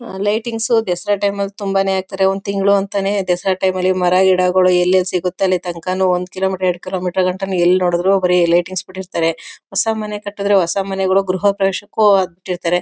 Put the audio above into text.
ಆ lightings Dasara time ನಲ್ಲಿ ತುಂಬಾನೇ ಹಾಕ್ತಾರೆ ಒಂದು ತಿಂಗಳು ಅಂತಾನೆ ದಸರಾ ಟೈಮ್ ನಲ್ಲಿ ಮರ ಗಿಡಗಳು ಎಲ್ಲೆಲ್ಲಿ ಸಿಗುತ್ತೆ ಅಲ್ಲಿ ತನ್ಕಾನು ಒಂದು ಕಿಲೋ ಮೀಟರ್ ಎರಡು ಕಿಲೋಮೀಟರು ಗಂಟನು ಎಲ್ಲಿ ನೋಡಿದ್ರು ಬರೀ ಲೈಟಿಂಗ್ಸ್ ಬಿಟ್ಟಿರ್ತಾರೆ ಹೊಸ ಮನೇ ಕಟ್ಟಿದ್ರೆ ಹೊಸ ಮನೆಗಳ ಗೃಹ ಪ್ರವೇಶಕ್ಕೂ ಅದು ಬಿಟ್ಟಿರ್ತಾರೆ.